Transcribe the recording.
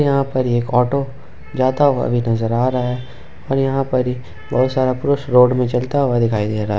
यहां पर एक ऑटो जाता हुआ भी नजर आ रहा है और यहां पर ही बहुत सारा पुरुष रोड में चलता हुआ दिखाई दे रहा है।